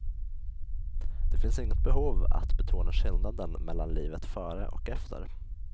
Det finns inget behov att betona skillnaden mellan livet före och efter.